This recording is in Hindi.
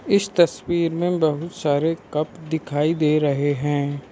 इस तस्वीर में बहुत सारे कप दिखाई दे रहे हैं।